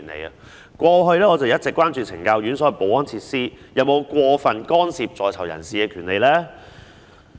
我過去一直關注懲教院所的保安設施有否過分干涉在囚人士的權利。